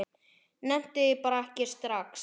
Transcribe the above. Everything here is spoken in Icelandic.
Nennti því bara ekki strax.